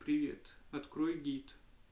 привет открой гид